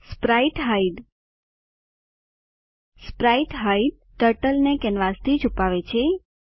sprite hide sprite hide turtle ને કેનવાસથી છુપાવે છે